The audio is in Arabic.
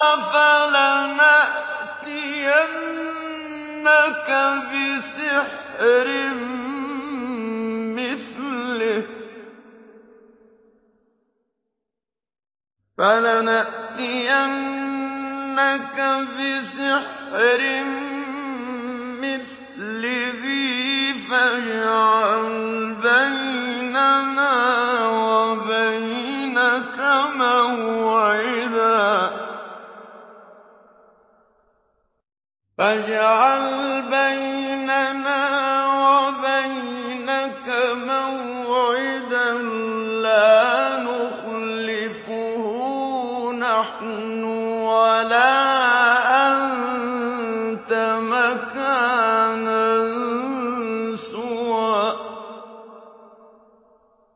فَلَنَأْتِيَنَّكَ بِسِحْرٍ مِّثْلِهِ فَاجْعَلْ بَيْنَنَا وَبَيْنَكَ مَوْعِدًا لَّا نُخْلِفُهُ نَحْنُ وَلَا أَنتَ مَكَانًا سُوًى